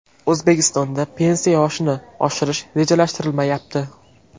O‘zbekistonda pensiya yoshini oshirish rejalashtirilmayapti.